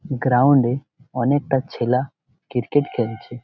গ্রাউন্ডে অনেকটা ছেলা ক্রিকেট খেলছে ।